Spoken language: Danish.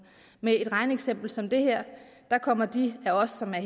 med et regneeksempel som det her kommer de af os som er